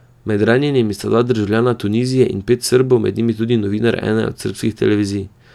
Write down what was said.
Med ranjenimi sta dva državljana Tunizije in pet Srbov, med njimi tudi novinar ene od srbskih televizij.